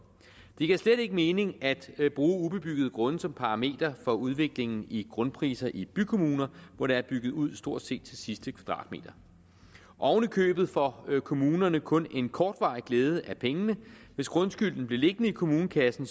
det giver slet ikke mening at bruge ubebyggede grunde som parameter for udviklingen i grundpriserne i bykommuner hvor der er bygget ud stort set til sidste kvadratmeter oven i købet får kommunerne kun en kortvarig glæde af pengene hvis grundskylden blev liggende i kommunekassen